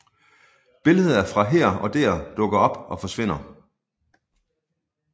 Billeder fra her og der dukker op og forsvinder